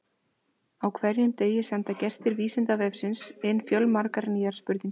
Á hverjum degi senda gestir Vísindavefsins inn fjölmargar nýjar spurningar.